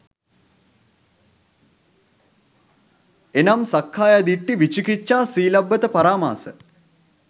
එනම් සක්කාය දිට්ඨි, විචිකිච්ඡා, සීලබ්බත පරාමාස